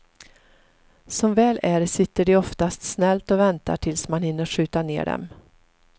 Som väl är sitter de oftast snällt och väntar tills man hinner skjuta ner dem.